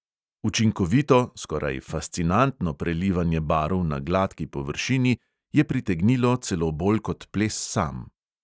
Učinkovito, skoraj fascinantno prelivanje barv na gladki površini je pritegnilo celo bolj kot ples sam.